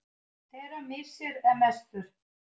Þeirra missir er mestur.